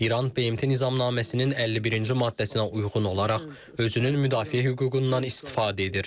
İran BMT Nizamnaməsinin 51-ci maddəsinə uyğun olaraq özünün müdafiə hüququndan istifadə edir.